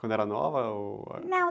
Quando era nova? Ou...ão.